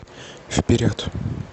вперед